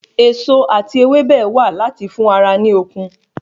Èso ati ewébẹ̀ wà láti fún ara ní okun